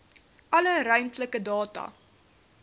alle ruimtelike data